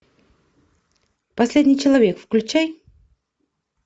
последний человек включай